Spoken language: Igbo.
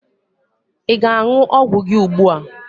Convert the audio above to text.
Ị ga aṅụ ọgwụ gị ùgbúà?